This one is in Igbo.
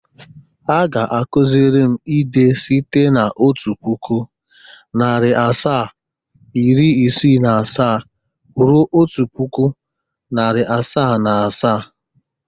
Ha ga-akụzịrịm ide site n' otu puku, nari asaa, iri isii na asaa ruo otu puku, nari asaa na asaa.